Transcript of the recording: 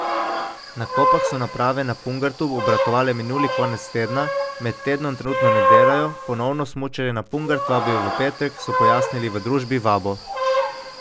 Na Kopah so naprave na Pungartu obratovale minuli konec tedna, med tednom trenutno ne delajo, ponovno smučarje na Pungart vabijo v petek, so pojasnili v družbi Vabo.